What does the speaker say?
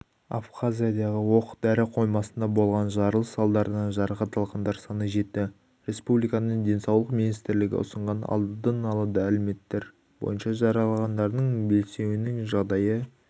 абхазиядағы оқ-дәрі қоймасында болған жарылыс салдарынан жарақат алғандар саны жетті республиканың денсаулық министрлігі ұсынған алдын ала мәліметтер бойынша жараланғандардың бесеуінің жағдайы